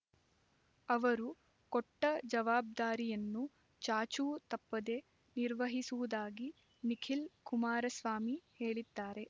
ಅವರು ಕೊಟ್ಟ ಜವಾಬ್ದಾರಿಯನ್ನು ಚಾಚೂ ತಪ್ಪದೆ ನಿರ್ವಹಿಸುವುದಾಗಿ ನಿಖಿಲ್ ಕುಮಾರಸ್ವಾಮಿ ಹೇಳಿದ್ದಾರೆ